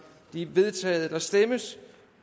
de er vedtaget der stemmes